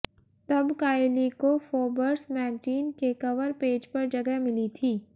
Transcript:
तब काइली को Forbes magazine के कवर पेज पर जगह मिली थी